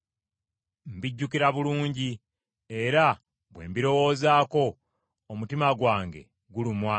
Mbijjukira bulungi era bwe mbirowoozaako omutima gwange gulumwa.